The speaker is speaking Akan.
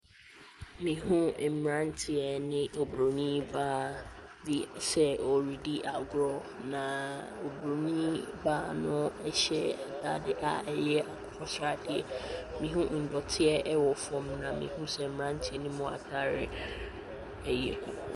Mehu mmeranteɛ ne oburoni baa bi sɛ wɔredi agorɔ, na oburoni baa no hyɛ atade a ɛyɛ akokɔ sradeɛ. Mehu ndɔteɛ wɔ fam, na mehu sɛ mmeranteɛ no atadeɛ yɛ kɔkɔ .